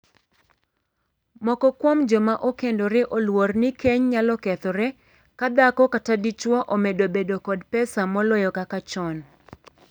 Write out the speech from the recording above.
Moko kuom joma okendore oluor ni keny nyalo kethore ka dhako kata dichwo omedo bedo kod pesa moloyo kaka chon.